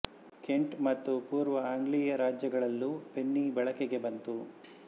Kent ಮತ್ತು ಪೂರ್ವ Anglia ರಾಜ್ಯಗಳಲ್ಲೂ ಪೆನ್ನಿ ಬಳಕೆಗೆ ಬಂತು